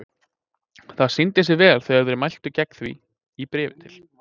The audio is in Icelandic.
Það sýndi sig vel þegar þeir mæltu gegn því í bréfi til